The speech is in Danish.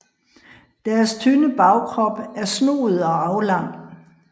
Deres tynde bagkrop er snoet og aflang